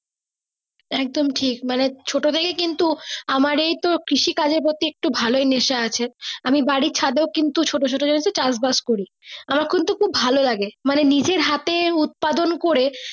একদম ঠিক মানে ছোট থেকে কিন্তু আমার এই তো কৃষি কাজের পতি ভালোই নেশা আছে আমি বাড়ি ছাদে কিন্তু ছোট ছোট জানিস তো চাষ বাস করি আমার কিন্তু খুব ভালো লাগে মানে নিজের হাতে উৎপাদন কোরে।